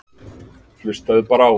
Hlustaðu bara á.